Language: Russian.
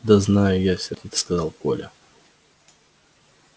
да знаю я сердито сказал коля